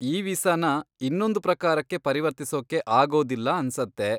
E ವೀಸಾನ ಇನ್ನೊಂದ್ ಪ್ರಕಾರಕ್ಕೆ ಪರಿವರ್ತಿಸೋಕೆ ಆಗೋದಿಲ್ಲ ಅನ್ಸತ್ತೆ.